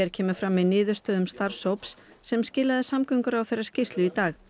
kemur fram í niðurstöðum starfshóps sem skilaði samgönguráðherra skýrslu í dag